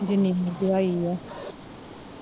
ਜਿੰਨੀ ਮਹਿੰਗਿਆਈ ਆ